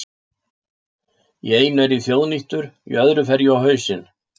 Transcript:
Í einu er ég þjóðnýttur, í öðru fer ég á hausinn.